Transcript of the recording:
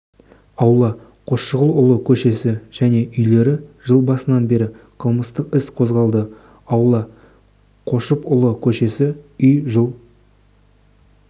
аула қосшығұлұлы көшесі және үйлері жыл басынан бері қылмыстық іс қозғалды аула қошыпұлы көшесі үй жыл